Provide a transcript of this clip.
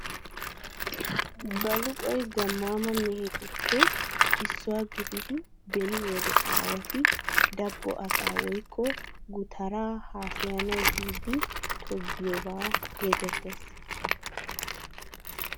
Baluqoyi gammaama mehetuppe issuwa gididi beni wode aawati dabbo asaa woykko gutaraa haasayanawu biiddi tiggiyogaa geetettes.